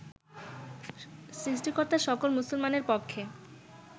সৃষ্টিকর্তা সকল মুসলমানের পক্ষে